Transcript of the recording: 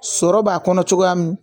Sɔrɔ b'a kɔnɔ cogoya min